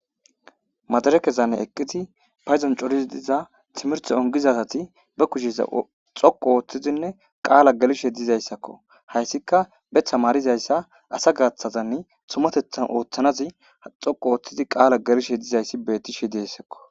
madare kezanne eqqiti payzon corizi diza timerto ongizasati ba kushiza xoqu ooththizinne qaala galishe dizayssakko hayssika betha maarizayssa asa gaaththazanne tumatethan ooththanazi xoqu ooththizi qaala galishe dizayssi betti shi deyssakko